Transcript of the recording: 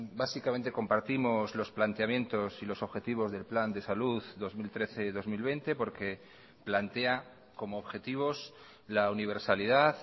básicamente compartimos los planteamientos y los objetivos del plan de salud dos mil trece dos mil veinte porque plantea como objetivos la universalidad